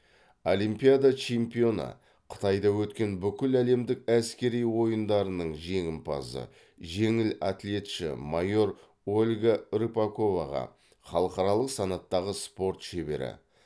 олимпиада чемпионы қытайда өткен бүкіләлемдік әскери ойындарының жеңімпазы жеңіл атлетші майор ольга рыпаковаға халықаралық санаттағы спорт шебері